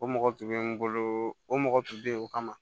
O mɔgɔ tun bɛ n bolo o mɔgɔ tun bɛ yen o kama